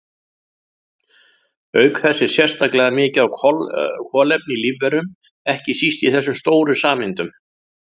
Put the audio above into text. Auk þess er sérstaklega mikið af kolefni í lífverum, ekki síst í þessum stóru sameindum.